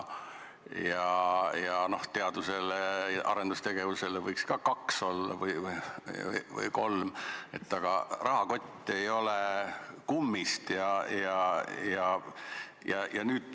No teadus- ja arendustegevusele võiks olla 2% või 3%, aga rahakott ei ole kummist.